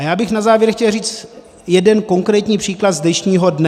A já bych na závěr chtěl říct jeden konkrétní příklad z dnešního dne.